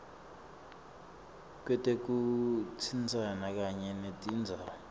kwetekutsintsana kanye netindzawo